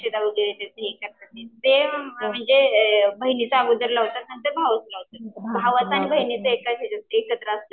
अक्षदा वगैरे करतात ते म्हणजे बहिणीचं अगोदर लावतात नंतर भावाचं लावतात. भावाचं आणि बहिणीचं एकाच हेच्यात असलं तर.